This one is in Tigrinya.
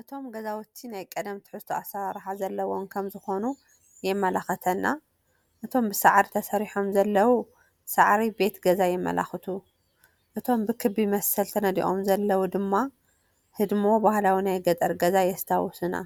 እቶም ገዛውቲ ናይ ቀደም ትሕዝቶ ኣሰራርሓ ዘለዎም ከምዝኾኑ የመልክተና፡፡ እቶም ብሳዕሪ ተሰሪሖም ዘለው፣ ሳዕሪ ቤት ገዛ የመልክቱ፡፡ እቶም ብኽቢ መሰል ተነዲቖም ዘለው ድማ ህድሞ ባህላዊ ናይ ገጠር ገዛ የስታውሱና፡፡